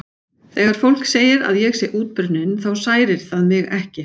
Þegar fólk segir að ég sé útbrunninn þá særir það mig ekki.